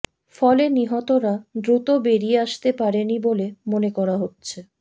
ফলে নিহতরা দ্রুত বেরিয়ে আসতে পারেনি বলে মনে করা হচ্ছে